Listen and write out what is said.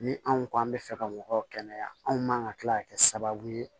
Ni anw ko an bɛ fɛ ka mɔgɔw kɛnɛya anw man ka kila ka kɛ sababu ye